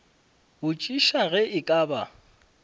botšiša ge e ka ba